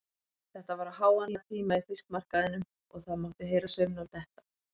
Þetta var á háannatíma í fiskmarkaðinum og það mátti heyra saumnál detta.